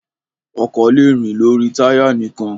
Ọkọ̀ le rìn lórí táy nìkan.